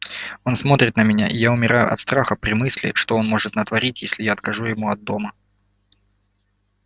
он смотрит на меня и я умираю от страха при мысли что он может натворить если я откажу ему от дома